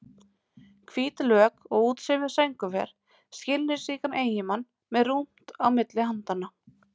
Hvít lök og útsaumuð sængurver, skilningsríkan eiginmann með rúmt á milli handanna.